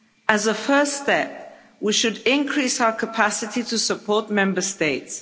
As a first step, we should increase our capacity to support Member States.